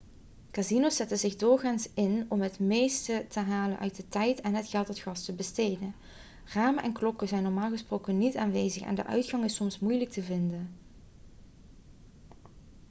casino's zetten zich doorgaans in om het meeste te halen uit de tijd en het geld dat gasten besteden ramen en klokken zijn normaal gesproken niet aanwezig en de uitgang is soms moeilijk te vinden